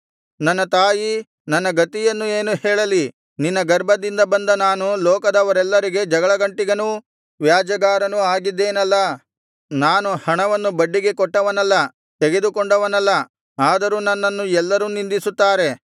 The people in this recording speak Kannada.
ನನ್ನ ತಾಯೀ ನನ್ನ ಗತಿಯನ್ನು ಏನು ಹೇಳಲಿ ನಿನ್ನ ಗರ್ಭದಿಂದ ಬಂದ ನಾನು ಲೋಕದವರೆಲ್ಲರಿಗೆ ಜಗಳಗಂಟಿಗನೂ ವ್ಯಾಜ್ಯಗಾರನೂ ಆಗಿದ್ದೇನಲ್ಲಾ ನಾನು ಹಣವನ್ನು ಬಡ್ಡಿಗೆ ಕೊಟ್ಟವನಲ್ಲ ತೆಗೆದುಕೊಂಡವನಲ್ಲ ಆದರೂ ನನ್ನನ್ನು ಎಲ್ಲರೂ ನಿಂದಿಸುತ್ತಾರೆ